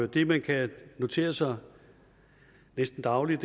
det man kan notere sig næsten dagligt